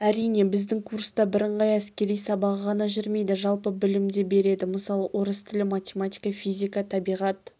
әрине біздің курста бірыңғай әскери сабағы ғана жүрмейді жалпы білім де береді мысалы орыс тілі математика физика табиғат